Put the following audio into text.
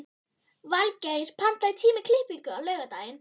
Valgeir, pantaðu tíma í klippingu á laugardaginn.